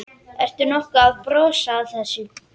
Ertu nokkuð að brosa að þessu?